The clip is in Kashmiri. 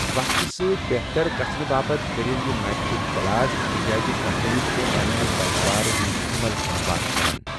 وقتہٕ سۭتۍ بہتر گژھنہٕ باپتھ کٔرِو یہِ میٹرک تلاش تِکیٛازِ کمپنی چھےٚ پنِنہِ پیداوارِ ہُنٛد عمل ہموار کران۔